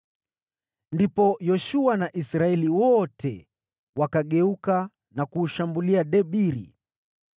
Ndipo Yoshua na Israeli wote wakageuka na kuushambulia Debiri.